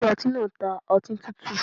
Ilé ọtí náà ń ta ọtí tútù.